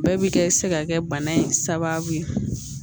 Bɛɛ bi kɛ se ka kɛ bana in sababu ye